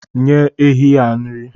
Nye ehi nri.